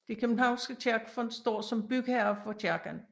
Det københavnske Kirkefond står som bygherre for kirken